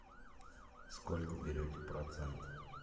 сколько берете процент